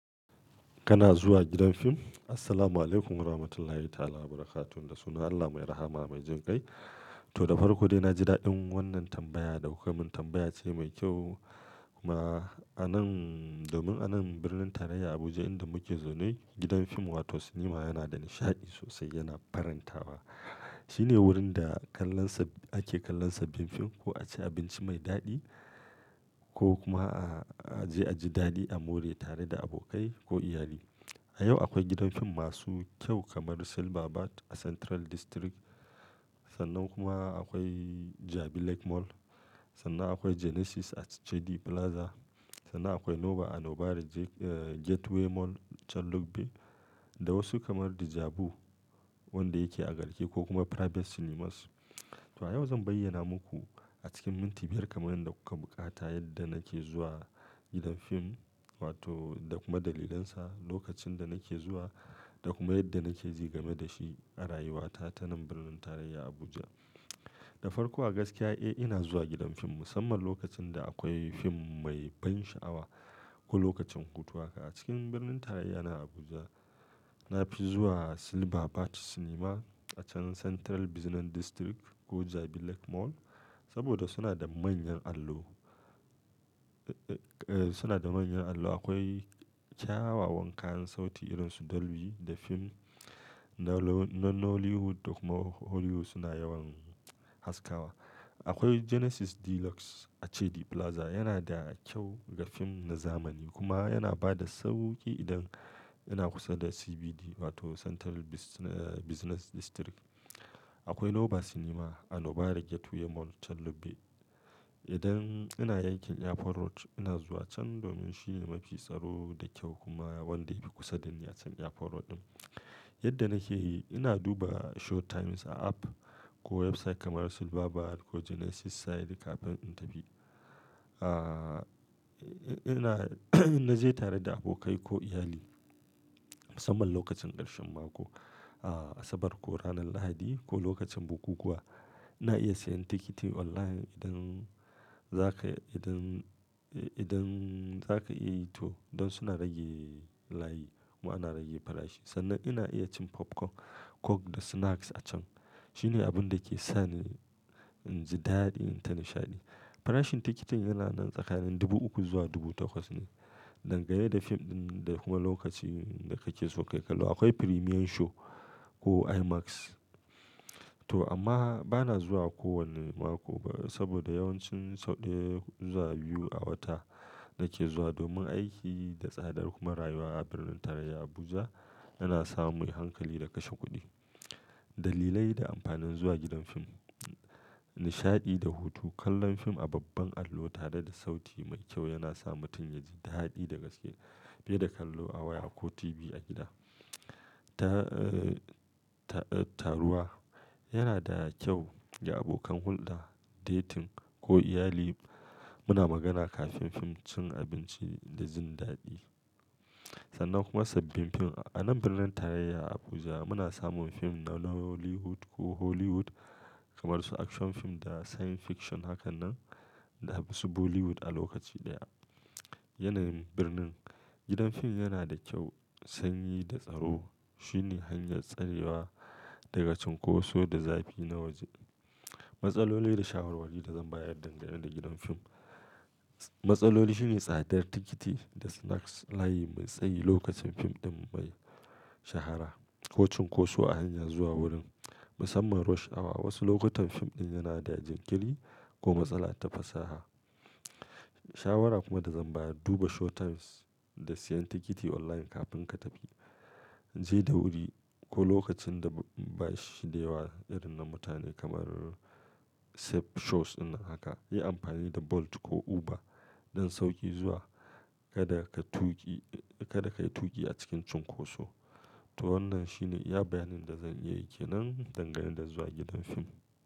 Kana zuwa gidan fim? Assalamualaikum warahmatullahi ta'ala barakatuh. Da sunan Allah mai rahama mai jin kai. To, da farko dai na ji daɗin wannan tambaya da kuka min tambaya ce mai kyau kuma. Anan, domin anan birnin tarayya Abuja inda muke zaune gidan fim wato cinema yana da nishaɗi sosai yana farantawa. Shine wurin da kallansa ake kallon sabbin fim ko a ci abinci mai daɗi ko kuma a je a ji daɗi a more tare da abokai ko iyali. A yau akwai gidan fim masu kyau kamar Silverbird a Central District. Sannan kuma akwai Jabi Lake Mall. Sannan akwai Genesis a Jedi Plaza. Sannan akwai Nova a Nubari Gateway Mall Chan Lubbe da wasu kamar Djabu wanda yake a garke ko kuma Private Cinemas. To a yau zan bayyana muku a cikin minti biyar kamar yadda kuka buƙata yadda nake zuwa gidan fim wato da kuma dalilansa, lokacin da nake zuwa da kuma yadda nake ji game da shi a rayuwata ta nan birnin tarayya Abuja. Da farko a gaskiya, eh ina zuwa gidan fim musamman lokacin da akwai fim mai ban sha'awa ko lokacin hutu haka. A cikin birnin tarayya na Abuja na fi zuwa Silverbird Cinema a can Central Business District ko Jabi Lake Mall saboda suna da manyan allo. Eh, suna da manyan allo. Akwai kyawawan kayan sauti irin su Dolby da fim na Nollywood da kuma Hollywood suna yawan haskawa. Akwai Genesis Deluxe a Jedi Plaza yana da kyau ga fim na zamani kuma yana ba da sauƙi idan ina kusa da CBD wato Central Business District. Akwai Nova Cinema a Nubari Gateway Mall Chan Lubbe. Idan ina yankin airport Road ina zuwa can domin shine mafi tsaro da kyau kuma wanda yafi kusa da ni a can airport Road ɗin. Yadda nake yi ina duba showtimes a app ko website kamar Silverbird ko Genesis site kafin in tafi. In na je tare da abokai ko iyali musamman lokacin ƙarshen mako, a asabar ko ranar lahadi ko lokacin bukukuwa. Ina iya siyan tikiti online idan zaka idan, idan zaka iya yi to don suna rage layi kuma ana rage farashi. Sannan ina iya cin popcorn, coke da snacks a can. Shine abun da ke sani in ji daɗi in ta nishaɗi. Farashin tikitin yana nan tsakanin dubu uku zuwa dubu takwas ne, dangane da fim ɗin da kuma lokacin da kake so ka yi kallo. Akwai premiere show ko IMAX. To amma bana zuwa kowane mako ba saboda yawancin sau ɗaya zuwa biyu a wata nake zuwa domin aiki da tsadar kuma rayuwa a birnin tarayya Abuja yana sa mu yi hankali da kashe kuɗi. Dalilai da amfanin zuwa gidan fim. Nishaɗi da hutu, kallon fim a babban allo tare da sauti mai kyau yana sa mutum ya ji daɗi da gaske fiye da kallo a waya ko TV a gida. Ta, taruwa yana da kyau ga abokan hulɗa, dating ko iyali. Muna magana kafin fim, cin abinci da jin daɗi. Sannan kuma sabbin fim. A nan birnin tarayya Abuja muna samun fim na Nollywood ko Hollywood kamar su action fim da science fiction hakanan da wasu Bollywood a lokaci ɗaya. Yanayin birnin, gidan fim yana da kyau, sanyi da tsaro. Shine hanyar tsarewa daga cunkoso da zafi na waje. Matsaloli da shawarwari da zan bayar dangane da gidan fim. Matsaloli shine tsadar tikiti da snacks, layi mai tsayi lokacin fim ɗin mai shahara ko cunkoso a hanya zuwa wurin musamman rush awa. Wasu lokutan fim ɗin yana da jinkiri ko matsala ta fasaha. Shawara kuma da zan bayar, duba showtimes da siyan tikiti online kafin ka tafi. Je da wuri ko lokacin da ba shi da yawa irin na mutane kamar safe shows in nan haka. Yi amfani da Bolt ko Uber don sauƙi zuwa. Kada ka tuƙi, kada ka yi tuƙi a cikin cunkoso. To wannan shine iya bayanin da zan iya yi ke nan dangane da zuwa gidan fim.